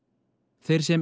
þeir sem